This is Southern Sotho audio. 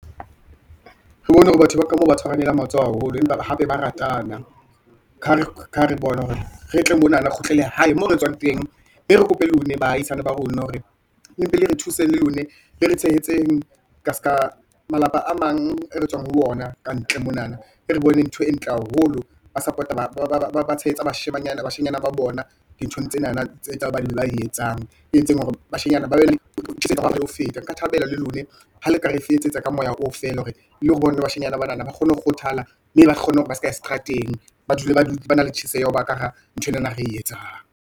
Re bone hore batho ba ka mo ba tshwanelang matsoho haholo, empa hape ba ratana ka ha re bona hore re tle monana, re kgutlele hae moo re tswang teng, mme re kope lone baahisane ba rona hore, le mpe le re thuse le lone, le re tshehetseng ka seka malapa a mang e re tswang ho ona ka ntle monana, e re bone ntho e ntle haholo, ba support-a, ba tshehetsa bashanyana ba bona, dinthong tsenana tse ba e etsang, e entseng hore bashenyana ho feta. Nka thabela le lone, ha le ka re fe etsetsa ka moya o feela, hore le bone bashanyana banana ba kgone ho kgothala, mme ba kgone hore ba seka ya seterateng, ba dule ba na le tjheseho ya ho ba kahara nthwenana e re etsang.